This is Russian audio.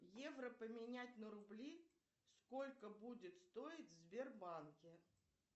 евро поменять на рубли сколько будет стоить в сбербанке